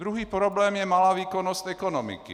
Druhý problém je malá výkonnost ekonomiky.